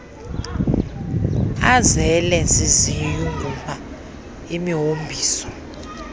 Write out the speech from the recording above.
azele ziziyunguma imihombiso